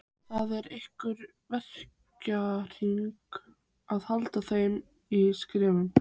Það er í ykkar verkahring að halda þeim í skefjum.